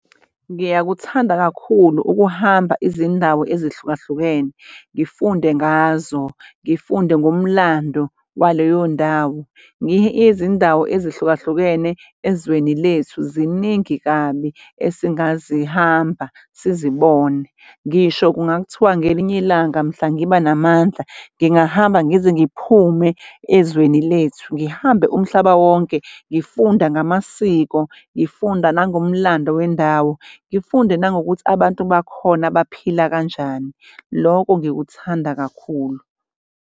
Ngiyakuthanda kakhulu ukuhamba izindawo ezihlukahlukene ngifunde ngazo, ngifunde ngomlando waleyo ndawo. Ngiye izindawo ezihlukahlukene ezweni lethu ziningi kabi esingazihamba sizibone ngisho kungakuthiwa ngelinye ilanga mhla ngiba namandla ngingahamba ngize ngiphume ezweni lethu, ngihambe umhlaba wonke, ngifunda ngamasiko, ngifunda nangomlando wendawo, ngifunde nangokuthi abantu bakhona baphila kanjani loko ngikuthanda kakhulu.